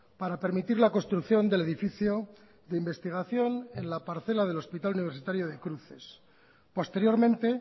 para permitir la construcción del edificio de investigación en la parcela del hospital universitario de cruces posteriormente